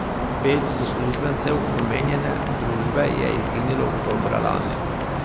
Pet uslužbencev omenjene družbe je izginilo oktobra lani.